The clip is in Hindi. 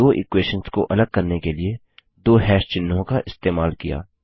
हमने दो इक्वेशंस को अलग करने के लिए दो हैश चिह्नों का इस्तेमाल किया